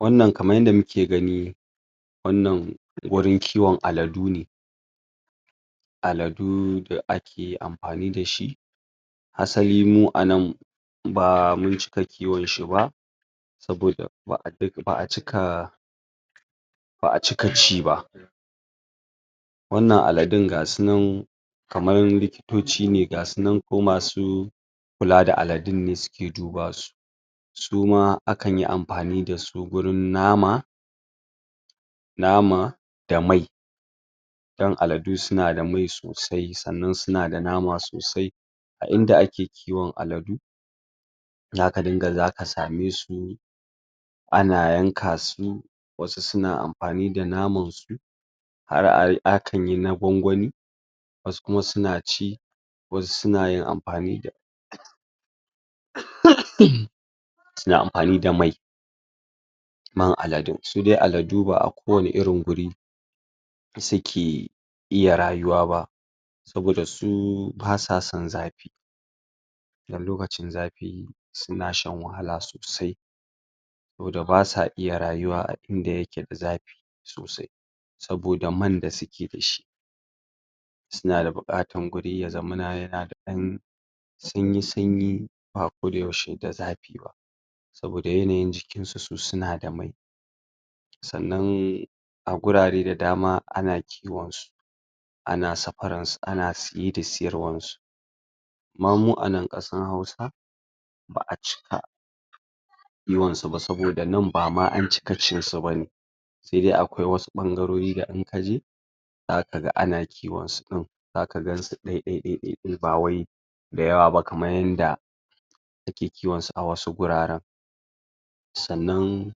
wannan kaman yanda muke gani wannan wurin kiwon aladune aladu da ake anfani dashi hasali mu ana ba muncika kiwon shi ba saboda ba'acika ba'a cika ciba wannan aladun gasunan kamar li kitoci ne kula da aladun ne suke duba su suma akan yi anfani da su gurin nama nama da mai dan aladu suna da mai sosai sannan suna da nama sosai a inda ake kiwon aladu zaka rika zaka same su ana yanka su wasu suna anfani da naman su har akan yi na gwangwani wasu kum suna ci wasu sunayin anfa suna anfani da mai man aladu, sudai aladu ba'a kowani irin guri suke iya rayuba soda su basa son zafi dan lokqcin zafi suna shan wahala sosa saboda basa iya rayuwa indayaka da zafi saboda man da suke dashi suna da bukatan guri ya zaman yahada dan sunyi sunyi ba koda yaushe ba saboda yanayin jikin su, sunada mai sannan agurare da dama ana kiwon su ana safaran su ana siye da siyarwa mamu ana kasan hausa ba'acika kiwon su ba saboda nan bama an ckia cin su bane sai dai dkwai wasu bangarori da zaka je dakaga ana kiwon su din zakagansu daiadi bawai bawai dayawaba kaman yanda ake kiwon su wasu guraren sannan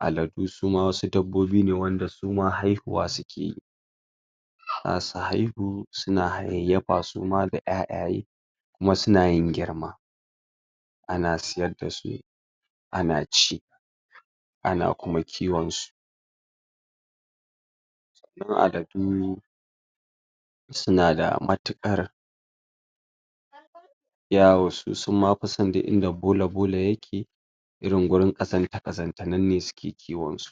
aladu suma wasu dabobin ne wanda haihuwa sukeyi dasu haihu suna hayayyafa suma da ƴaƴaye kuma sunayin girman ta ana siyar da su ana ci ana kuma kiwosu sannan aladu suna da mautukar yawo sosai summafison inda bola bola yake irin gurin kazanta kazanta, nan ne suke kiwo su